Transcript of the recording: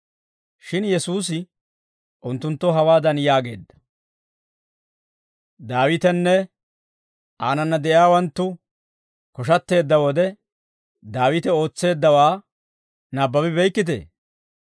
Shin Yesuusi unttunttoo hawaadan yaageedda; «Daawitenne aanana de'iyaawanttu koshatteedda wode, Daawite ootseeddawaa nabbabi beykkitee?